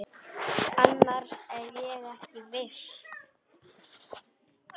Annars er ég ekki viss.